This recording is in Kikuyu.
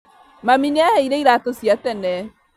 Mami nĩaheire iratũ cia tene